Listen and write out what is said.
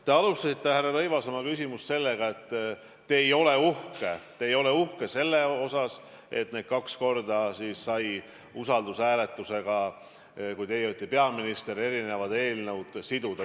Te alustasite, härra Rõivas, oma küsimust sellega, et te ei ole uhke selle üle, et kaks korda sai siis, kui teie olite peaminister, eri eelnõud seotud usaldushääletusega.